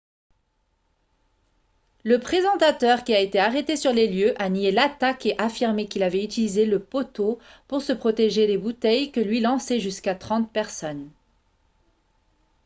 le présentateur qui a été arrêté sur les lieux a nié l'attaque et affirmé qu'il avait utilisé le poteau pour se protéger des bouteilles que lui lançaient jusqu'à trente personnes